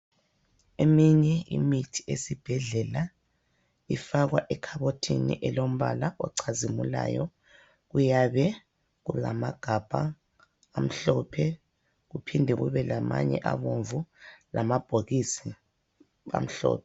Eminye imithi esibhedlela ifakwa ekhabothini elombala ocazimulayo. Kuyabe kulamagabha amhlophe kuphinde kube lamanye abomvu lamabhokisi amhlophe.